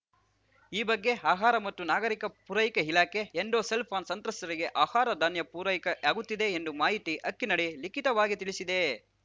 ಈ ಬಗ್ಗೆ ಆಹಾರ ಮತ್ತು ನಾಗರಿಕ ಪೂರೈಕೆ ಇಲಾಖೆ ಎಂಡೋ ಸಲ್ಫಾನ್‌ ಸಂತ್ರಸ್ತರಿಗೆ ಆಹಾರಧಾನ್ಯ ಪೂರೈಕೆಯಾಗುತ್ತಿದೆ ಎಂದು ಮಾಹಿತಿ ಹಕ್ಕಿನಡಿ ಲಿಖಿತವಾಗಿ ತಿಳಿಸಿದೆ